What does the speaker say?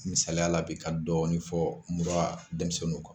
Misaliya la bi ka dɔɔnin fɔ mura denmisɛnninw kan